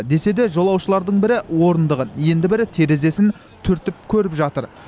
десе де жолаушылардың бірі орындығын енді бірі терезесін түртіп көріп жатыр